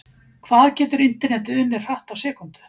Hvað getur Internetið unnið hratt á sekúndu?